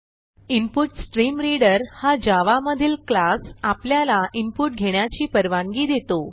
input stream reader हा javaमधील class आपल्याला इनपुट घेण्याची परवानगी देतो